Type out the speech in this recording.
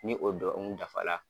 Ni o dɔun dafa la